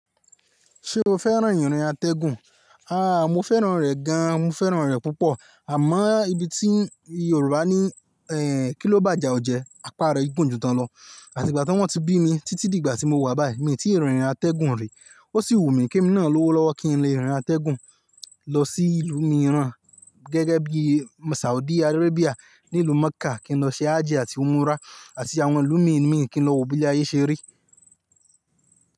Ṣé o fẹ́ràn ìrìn àtẹ̀gùn? Àáà, mo fẹ́ràn rẹ̀ gan. Mo fẹ́ràn rẹ̀ púpọ̀. Àmọ́ níbi tí Yorùbá ní "Ehn" kí ló bàjẹ́ ọ jẹ́? Á pàrọ̀ igun jù tán lọ. Àti ìgbà tí wọ́n ti bí mi títí di ìgbà tí mo wà báyìí, mi ò tí ì rìn ìrìn àtẹ̀gùn rí. O sì wù mí kí n nána lówó lọ́wọ́ kí n lè rìn àtẹ̀gùn lọ sí ìlú mìíràn gẹ́gẹ́ bí Saudi Arabia ní ìlú Mecca kí n lọ ṣe hajji àti umra àti àwọn ìlú mìí mìí kí n lọ wo bí ayé ṣe rí.